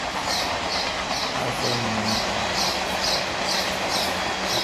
taasoo muhiim u ah wax soo saarka dalagga.